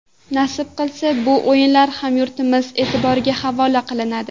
Nasib qilsa, bu o‘yinlar hamyurtlarimiz e’tiboriga havola qilinadi.